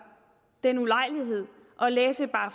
den ulejlighed at læse bare